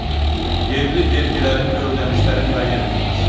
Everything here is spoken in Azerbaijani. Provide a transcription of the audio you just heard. Yerli vergilərin və ödənişlərin müəyyən edilməsi.